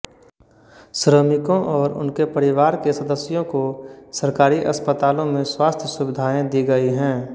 श्रमिकों और उनके परिवार के सदस्यों को सरकारी अस्पतालों में स्वास्थ्य सुविधाएं दी गई हैं